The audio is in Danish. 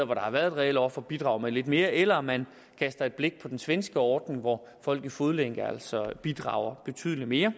der har været et reelt offer bidrager med lidt mere eller at man kaster et blik på den svenske ordning hvor folk i fodlænke altså bidrager betydelig mere